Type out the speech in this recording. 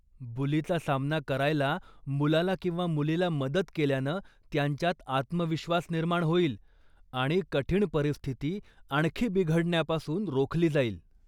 बुलीचा सामना करायला मुलाला किंवा मुलीला मदत केल्यानं त्यांच्यात आत्मविश्वास निर्माण होईल आणि कठीण परिस्थिती आणखी बिघडण्यापासून रोखली जाईल.